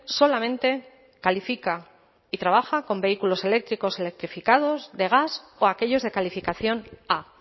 solamente califica y trabaja con vehículos eléctricos electrificados de gas o aquellos de calificación a